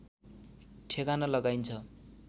ठेगाना लगाइन्छ